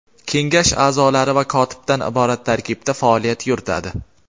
kengash aʼzolari va kotibdan iborat tarkibda faoliyat yuritadi.